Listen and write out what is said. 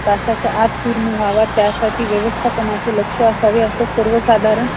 आश्रमात एकूण पंच्याहत्तर मुली होत्या. त्यांपैकी एकोणवीस मुली अविवाहित होत्या. अविवाहित मुलींची संख्या एकूण मुलींच्या,